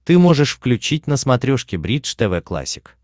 ты можешь включить на смотрешке бридж тв классик